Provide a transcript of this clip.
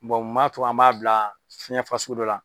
mun b'a to an b'a bila fiɲɛ fasugu dɔ la.